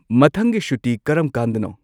ꯃꯊꯪꯒꯤ ꯁꯨꯇꯤ ꯀꯔꯝ ꯀꯥꯟꯗꯅꯣ